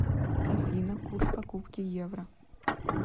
афина курс покупки евро